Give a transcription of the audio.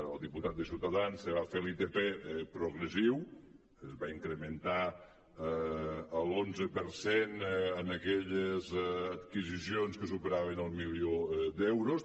el diputat de ciutadans es va fer l’itp progressiu es va incrementar l’onze per cent en aquelles adquisicions que superaven el milió d’euros